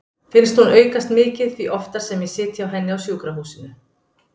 Finnst hún aukast mikið því oftar sem ég sit hjá henni á sjúkrahúsinu.